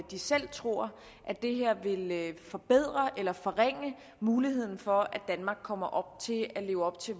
de selv tror at det her vil forbedre eller forringe muligheden for at danmark kommer til at leve op til